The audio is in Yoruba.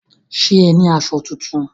Ṣé o ní aṣọ tuntun?